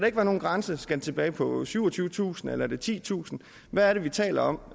ikke være nogen grænse skal den tilbage på syvogtyvetusind eller titusind hvad er det vi taler om